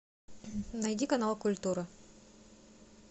найди канал культура